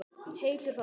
Heitur þarna.